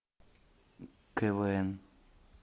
квн